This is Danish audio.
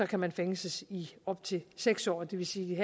kan man fængsles i op til seks år det vil sige at